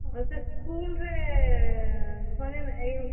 ହଁ, ସେ school ରେ ।